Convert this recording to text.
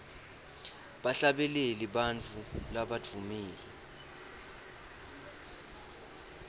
bahlabeleli bantfu labadvumile